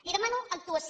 li demano actuació